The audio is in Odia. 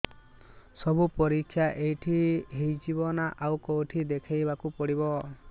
ସବୁ ପରୀକ୍ଷା ଏଇଠି ହେଇଯିବ ନା ଆଉ କଉଠି ଦେଖେଇ ବାକୁ ପଡ଼ିବ